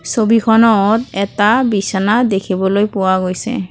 ছবিখনত এটা বিছানা দেখিবলৈ পোৱা গৈছে।